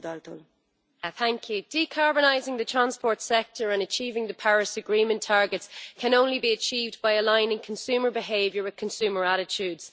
Madam President, decarbonising the transport sector and meeting the Paris Agreement targets can only be achieved by aligning consumer behaviour with consumer attitudes.